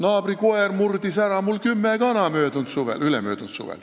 Naabri koer murdis mul ülemöödunud suvel ära kümme kana.